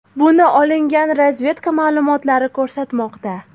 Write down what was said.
Buni olingan razvedka ma’lumotlari ko‘rsatmoqda”.